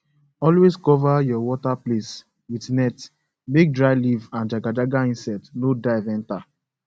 always cover your water place with net make dry leaf and jagajaga insect no dive enter